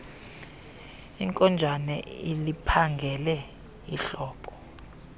inkonjane iliphangele ihlobo